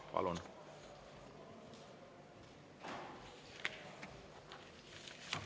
Palun!